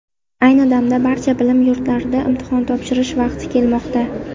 Ayni damda, barcha bilim yurtlarida imtihon topshirish vaqti ketmoqda.